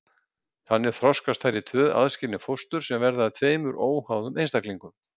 þannig þroskast þær í tvö aðskilin fóstur sem verða að tveimur óháðum einstaklingum